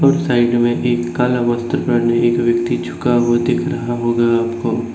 और साइड में एक काला वस्त्र पहने एक व्यक्ति झुका हुआ दिख रहा होगा आपको।